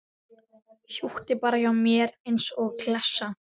Húkti bara hjá mér eins og klessa.